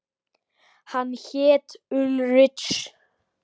Hann hét Ulrich.